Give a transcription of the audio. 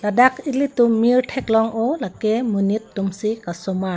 ladak eli tum mir thek long oh lake monit tum si kasemar.